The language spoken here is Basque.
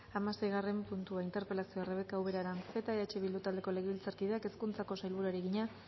hamaseigarren puntua interpelazioa rebeka ubera aranzeta eh bildu taldeko legebiltzarkideak hezkuntzako sailburuari egina